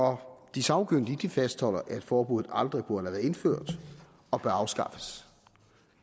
de sagkyndige fastholder at forbuddet aldrig burde have været indført og bør afskaffes